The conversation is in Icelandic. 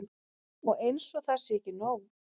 Og eins og það sé ekki nóg.